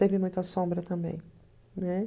Teve muita sombra também, né?